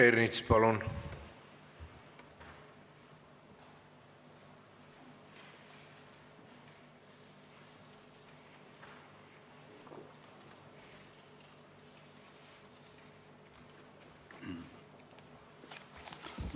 Peeter Ernits, palun!